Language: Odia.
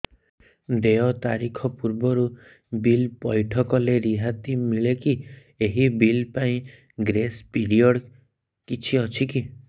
ଦେୟ ତାରିଖ ପୂର୍ବରୁ ବିଲ୍ ପୈଠ କଲେ ରିହାତି ମିଲେକି ଏହି ବିଲ୍ ପାଇଁ ଗ୍ରେସ୍ ପିରିୟଡ଼ କିଛି ଅଛିକି